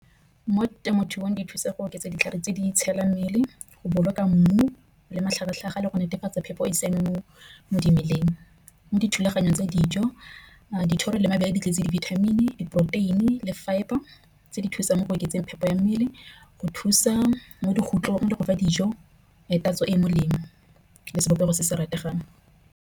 Mo temothuong di thusa go oketsa ditlhare tse di itshidila mmele. Go boloka mmu le matlhagatlhaga le go netefatsa phepho e sengwe mo dimeleng. Mo dithulaganyong tse dijo dithoro le mabele di tletse di-vitamin, diporoteini le fibre tse di thusang mo go oketseng phepo ya mmele. Go thusa mo dikotlolong dikgofa dijo ya tatso e e molemo le sebopego se se rategang.